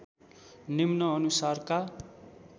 निम्न अनुसारका